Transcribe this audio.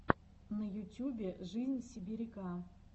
на ютюбе жизнь сибиряка